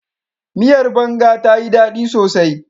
Miyar banga tayi ɗaɗi sosai.